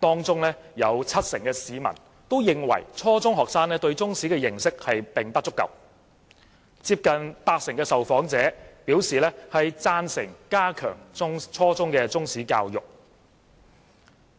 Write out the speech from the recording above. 當中有七成市民認為初中學生對中史的認識並不足夠，接近八成受訪者表示贊成加強初中中史教育。